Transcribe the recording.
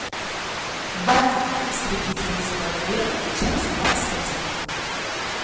баффи истребительница вампиров часть двадцать один